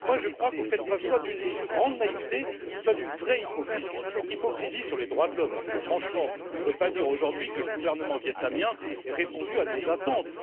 Donc moi, je crois que vous faites preuve soit d'une grande naïveté, soit d'une vraie hypocrisie, une hypocrisie sur les droits de l'homme, parce que franchement, on ne peut pas dire aujourd'hui que le gouvernement vietnamien ait répondu à nos attentes.